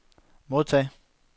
modtag